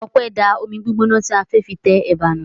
Ọpẹ́ da omi gbígbóná tí a fẹ́ fi tẹ ẹ̀bà nù.